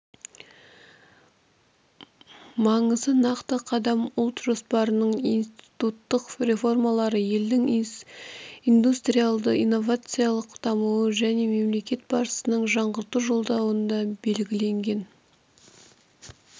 маңызы нақты қадам ұлт жоспарының институттық реформалары елдің индустриалды-инновациялық дамуы және мемлекет басшысының жаңғырту жолдауында белгіленген